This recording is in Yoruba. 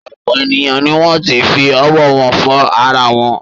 Ọ̀pọ̀ ènìyàn ni wọ́n ti fi ọwọ́ wọn fọ ara wọn.